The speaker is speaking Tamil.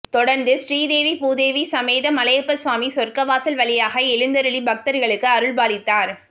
தொடர்ந்து ஸ்ரீதேவி பூதேவி சமேத மலையப்ப சுவாமி சொர்க்கவாசல் வழியாக எழுந்தருளி பக்தர்களுக்கு அருள்பாலித்தார்